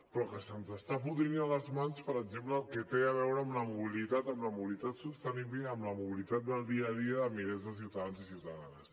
però que se’ns està podrint a les mans per exemple el que té a veure amb la mobilitat amb la mobilitat sostenible i amb la mobilitat del dia a dia de milers de ciutadans i ciutadanes